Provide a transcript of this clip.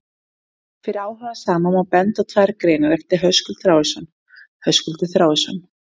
Fyrir áhugasama má benda á tvær greinar eftir Höskuld Þráinsson: Höskuldur Þráinsson.